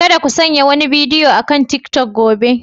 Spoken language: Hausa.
Kada ku sanya wani bidiyo akan tiktok gobe.